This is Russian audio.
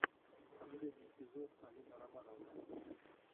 последний эпизод алина романовна